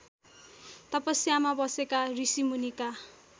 तपस्यामा बसेका ऋषिमुनिका